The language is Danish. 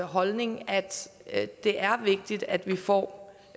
holdning at det er vigtigt at vi får